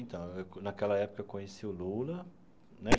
Então, naquela época, eu conheci o Lula né.